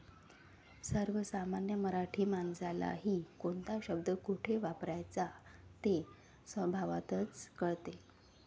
सर्वसामान्य मराठी माणसालाही कोणता शब्द कोठे वापरावयाचा ते स्वभावतःच कळते.